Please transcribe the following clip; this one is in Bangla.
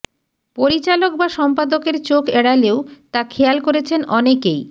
পরিচালক বা সম্পাদকের চোখ এড়ালেও তা খেয়াল করেছেন অনেকেই